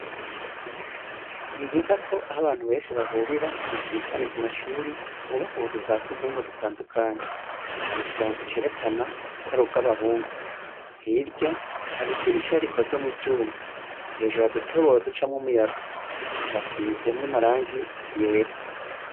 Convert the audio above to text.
N'ivyiza k' ahabantu benshi bahurira na cane cane ku mashure hubakw' ubuzu bwasugumwe butandukanye, har' ikirango cerekana kwarubwa bahungu, hirya har'idirisha rikozwe mu vyuma, hejuru har' udutoboro ducamw' umuyaga, harasiz' amarangi yera.